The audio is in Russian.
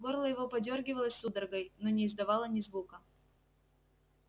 горло его подёргивалось судорогой но не издавало ни звука